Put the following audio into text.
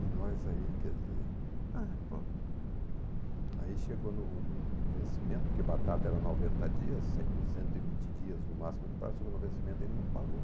E nós aí, quer dizer, aí chegou no no no vencimento, porque batata era noventa dias, cem cento e vinte dias no máximo de prazo, chegou no vencimento e ele não pagou.